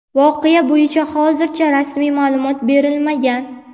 Voqea bo‘yicha hozircha rasmiy ma’lumot berilmagan.